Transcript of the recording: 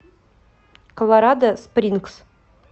колорадо спрингс